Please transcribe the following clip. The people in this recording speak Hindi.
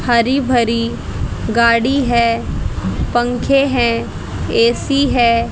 हरी भरी गाड़ी है पंखे हैं ए_सी है।